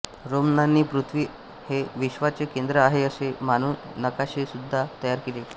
रोमनांनी पृथ्वी हे विश्वाचे केंद्र आहे असे मानून नकाशेसुद्धा तयार केले